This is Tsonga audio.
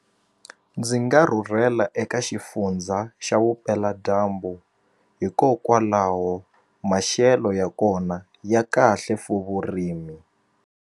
Ndzi nga rhurhela eka xifundza xa vupeladyambu hikokwalaho maxelo ya kona ya kahle for vurimi.